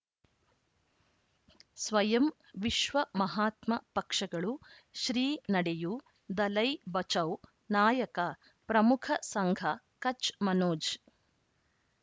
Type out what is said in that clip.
ಸ್ವಯಂ ವಿಶ್ವ ಮಹಾತ್ಮ ಪಕ್ಷಗಳು ಶ್ರೀ ನಡೆಯೂ ದಲೈ ಬಚೌ ನಾಯಕ ಪ್ರಮುಖ ಸಂಘ ಕಚ್ ಮನೋಜ್